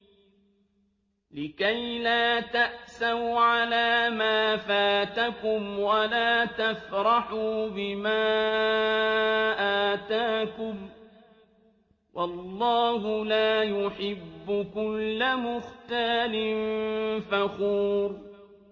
لِّكَيْلَا تَأْسَوْا عَلَىٰ مَا فَاتَكُمْ وَلَا تَفْرَحُوا بِمَا آتَاكُمْ ۗ وَاللَّهُ لَا يُحِبُّ كُلَّ مُخْتَالٍ فَخُورٍ